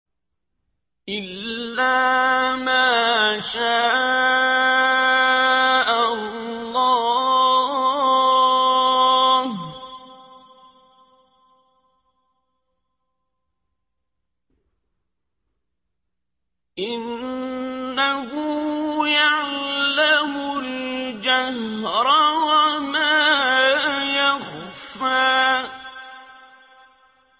إِلَّا مَا شَاءَ اللَّهُ ۚ إِنَّهُ يَعْلَمُ الْجَهْرَ وَمَا يَخْفَىٰ